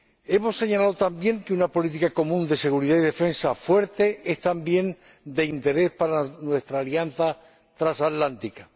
Hemos señalado también que una política común de seguridad y defensa fuerte es igualmente de interés para nuestra alianza transatlántica.